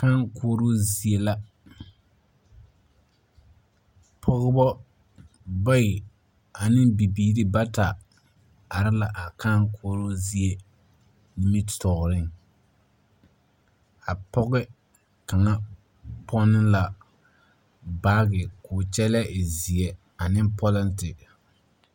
Kãã koɔroo zie la pɔgbɔ bayi ane bibiiri bata are la a kãã koɔroo zie nimitɔɔreŋ. A pɔgɔ kaŋa pɔne la baage koo kyɛllɛ e zeɛ ane polente.